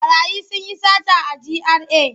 Ɓarayi sun yi sata a GRA.